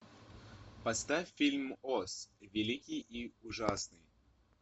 поставь фильм оз великий и ужасный